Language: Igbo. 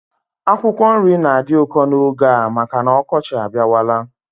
Akwụkwọ nri na-adị ụkọ n'oge a maka m ọkọchị abịawala